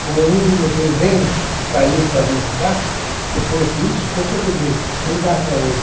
Como um dos inventos que está aí para mostrar, depois disso, por isso que eu digo, não dá para hoje.